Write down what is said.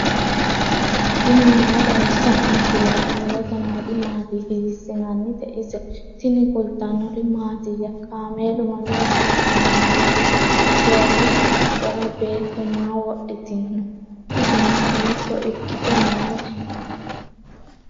tini maa xawissanno misileeti ? mulese noori maati ? hiissinannite ise ? tini kultannori mattiya? kaameelu mamira haranni nooho? doogotte qaccera beetto maa wodhittinno? isenno hiitto ikkitte nootte?